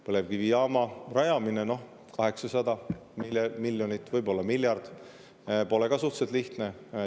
Põlevkivijaama rajamine, noh, 800 miljonit, võib-olla miljard – see pole ka lihtne.